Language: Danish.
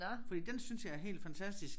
Fordi den synes jeg er helt fantastisk